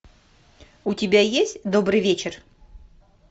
у тебя есть добрый вечер